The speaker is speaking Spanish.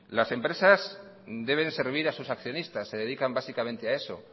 las empresas deben servir a sus accionistas se dedican básicamente a eso